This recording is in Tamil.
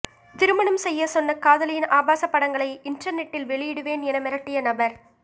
திருமணம் செய்யச் சொன்ன காதலியின் ஆபாச படங்களை இன்டர்நெட்டில் வெளியிடுவேன் என மிரடிட்ய நபர்